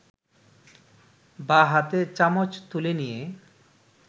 বাঁ হাতে চামচ তুলে নিয়ে